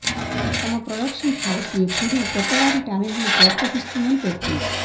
తమ production house ఎప్పుడూ కొత్తవారి టాలెంట్ ను ప్రోత్సహిస్తోందని పేర్కొంది